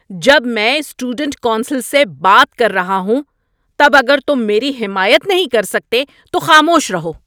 ‏جب میں student council سے بات کر رہا ہوں تب اگر تم میری حمایت نہیں کر سکتے تو خاموش رہو۔